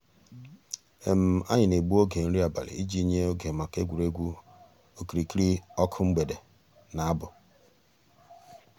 ànyị̀ nà-ègbù ògè nrí àbàlị̀ íjì nyè ògè mǎká ègwè́régwụ̀ òkìrìkìrì ǒkụ̀ mgbèdè nà àbụ̀.